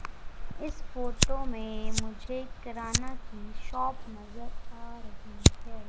इस फोटो मे मुझे एक किराना की शॉप नज़र आ रही है।